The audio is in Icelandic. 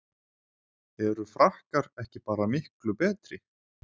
Eru Frakkar ekki bara miklu betri?